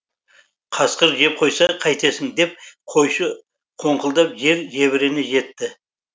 қасқыр жеп қойса қайтесің деп қойшы қоңқылдап жер жебірене жетті